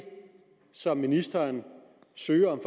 som ministeren søger om